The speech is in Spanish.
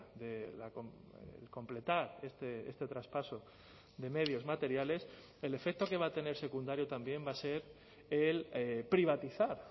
de completar este traspaso de medios materiales el efecto que va a tener secundario también va a ser el privatizar